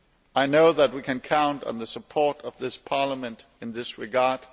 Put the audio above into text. I know that we can count on the support of this Parliament in this regard.